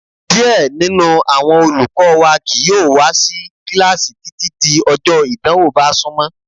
Díẹ̀ nínú àwọn olùkọ́ wa kìí yóò wá sí kíláàsì títí di ọjọ ìdánwò bá súnmọ́.